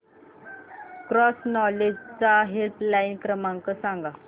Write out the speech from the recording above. cross knowledge चा helpline क्रमांक सांगा